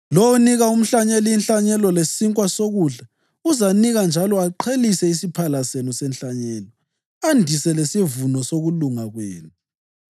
Lowo onika umhlanyeli inhlanyelo lesinkwa sokudla uzanika njalo aqhelise isiphala senu senhlanyelo, andise lesivuno sokulunga kwenu.